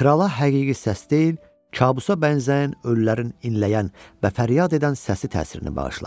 krala həqiqi səs deyil, kabusa bənzəyən ölülərin inləyən və fəryad edən səsi təsirini bağışladı.